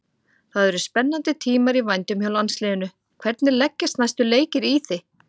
Það eru spennandi tímar í vændum hjá landsliðinu, hvernig leggjast næstu leikir í þig?